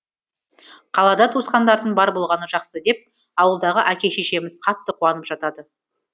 қалада туысқандарың бар болғаны жақсы деп ауылдағы әке шешеміз қатты куанып жатады